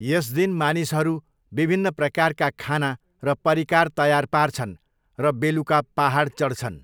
यस दिन मानिसहरू विभिन्न प्रकारका खाना र परिकार तयार पार्छन् र बेलुका पाहाड चढ्छन्।